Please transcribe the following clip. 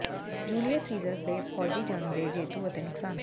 Julius Caesar ਦੇ ਫ਼ੌਜੀ ਜੰਗ ਦੇ ਜੇਤੂ ਅਤੇ ਨੁਕਸਾਨ